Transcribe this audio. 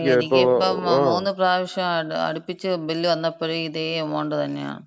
എനിക്കിപ്പം മൂന്നുപ്രാവശ്യം അടുപ്പിച്ച് ബില്ല് വന്നപ്പഴും ഇതേ എമൗണ്ട് തന്നെയാണ്.